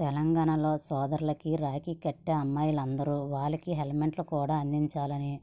తెలంగాణలో సోదరులకి రాఖీ కట్టే అమ్మాయిలందరూ వాళ్లకి హెల్మెట్లు కూడా అందించాలని